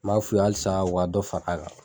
N m'a f'u ye halisa u ka dɔ fara a kan